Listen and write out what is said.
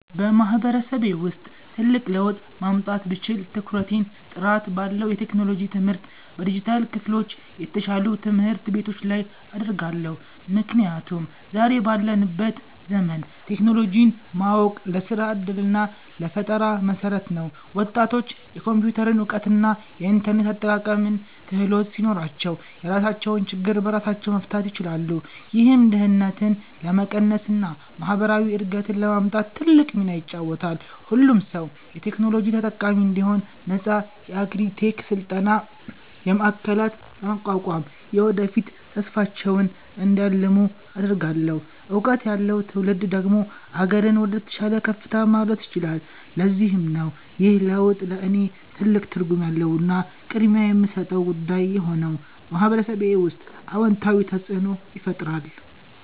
በማህበረሰቤ ውስጥ ትልቅ ለውጥ ማምጣት ብችል፣ ትኩረቴን ጥራት ባለው የቴክኖሎጂ ትምህርትና በዲጂታል ክህሎት፣ የተሻሉ ትምህርት ቤቶች ላይ አደርጋለሁ። ምክንያቱም ዛሬ ባለንበት ዘመን ቴክኖሎጂን ማወቅ ለስራ ዕድልና ለፈጠራ መሠረት ነው። ወጣቶች የኮምፒውተር እውቀትና የኢንተርኔት አጠቃቀም ክህሎት ሲኖራቸው፣ የራሳቸውን ችግር በራሳቸው መፍታት ይችላሉ። ይህም ድህነትን ለመቀነስና ማህበራዊ እድገትን ለማምጣት ትልቅ ሚና ይጫወታል። ሁሉም ሰው የቴክኖሎጂ ተጠቃሚ እንዲሆን ነፃ የአግሪ -ቴክ የስልጠና ማዕከላትን በማቋቋም፣ የወደፊት ተስፋቸውን እንዲያልሙ አደርጋለሁ። እውቀት ያለው ትውልድ ደግሞ አገርን ወደተሻለ ከፍታ ማድረስ ይችላል። ለዚህም ነው ይህ ለውጥ ለእኔ ትልቅ ትርጉም ያለውና ቅድሚያ የምሰጠው ጉዳይ የሆነው፤ በማህበረሰቤ ውስጥም አዎንታዊ ተፅእኖን ይፈጥራል።